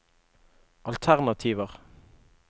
alternativer